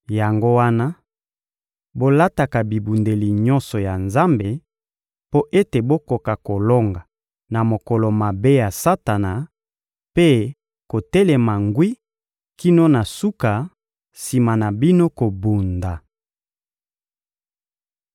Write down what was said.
Yango wana, bolataka bibundeli nyonso ya Nzambe mpo ete bokoka kolonga na mokolo mabe ya Satana mpe kotelema ngwi kino na suka sima na bino kobunda.